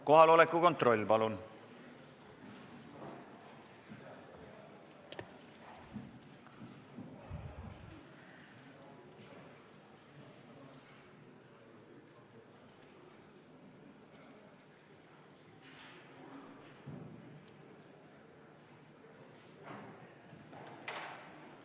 Kohaloleku kontroll, palun!